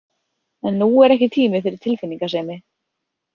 En nú er ekki tími fyrir tilfinningasemi.